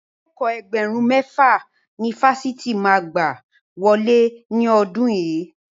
Akẹ́kọ̀ọ́ Ẹgbẹ̀rún mẹ́fà ni Fásitì mi máa gbà wọlé ní ọdún yìí.